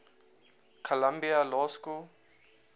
columbia law school